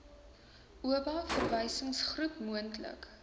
oba verwysingsgroep moontlik